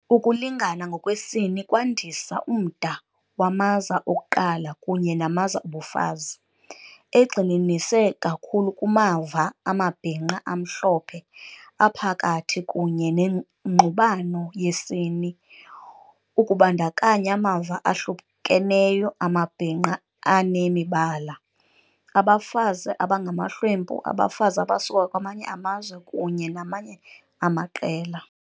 Ukulingana ngokwesini kwandisa umda wamaza okuqala kunye namaza obufazi, egxininise kakhulu kumava amabhinqa amhlophe, aphakathi kunye nengxubano yesini, ukubandakanya amava ahlukeneyo amabhinqa anemibala, abafazi abangamahlwempu, abafazi abasuka kwamanye amazwe, kunye namanye amaqela.